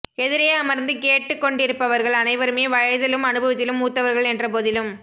எதிரே அமர்ந்து கேட்டுக்கொண்டிருப்பவர்கள் அனைவருமே வயதிலும் அனுபவத்திலும் மூத்தவர்கள் என்ற போதிலும்